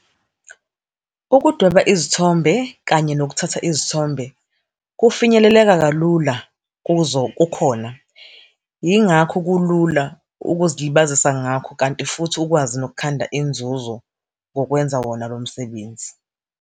Ukudweba izithombe kanye nokuthatha izithombe kufinyeleleka kalula kuzo kukhona. Yingakho kulula ukuzilibazisa ngakho, kanti futhi ukwazi yokukhanda inzuzo ngokwenza wona lo msebenzi.